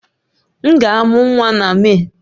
M ga-amụ nwa na Mee